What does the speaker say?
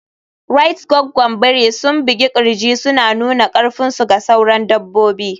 Rait Gwaggwan biri sun bugi kirji suna nuna karfinsu ga sauran dabbobi.